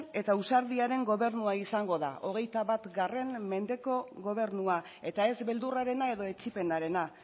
eta ausardiaren gobernua izango da hogeita bat mendeko gobernua eta ez beldurrarena edo etsipenarena